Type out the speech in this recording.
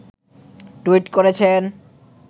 tweet করেছেন